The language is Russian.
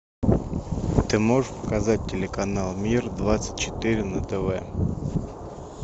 ты можешь показать телеканал мир двадцать четыре на тв